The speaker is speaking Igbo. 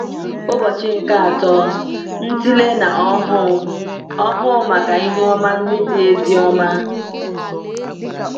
Ụbọchị nke Atọ – Ntịle na Ọhụụ Ọhụụ Maka Ihe Ọma Ndị Dị Ezi Ọma